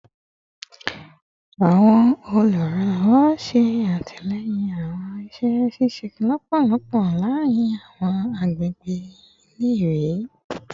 Awọn oluranlọwọ ṣe atilẹyin awọn iṣẹ ṣiṣe lọpọlọpọ laarin awọn agbegbe ile-iwe